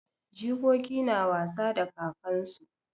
Jikoki na wasa da kakansu.